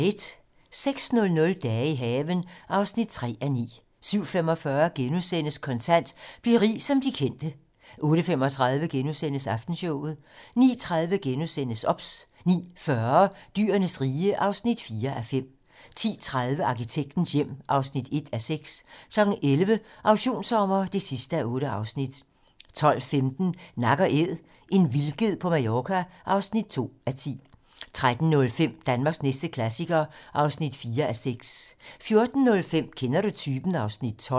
06:00: Dage i haven (3:9) 07:45: Kontant: Bliv rig som de kendte * 08:35: Aftenshowet * 09:30: OBS * 09:40: Dyrenes rige (4:5) 10:30: Arkitektens hjem (1:6) 11:00: Auktionssommer (8:8) 12:15: Nak & Æd - en vildged på Mallorca (2:10) 13:05: Danmarks næste klassiker (4:6) 14:05: Kender du typen? (Afs. 12)